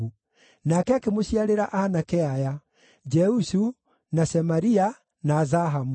Nake akĩmũciarĩra aanake aya: Jeushu, na Shemaria, na Zahamu.